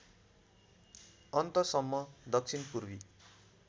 अन्तसम्म दक्षिण पूर्वी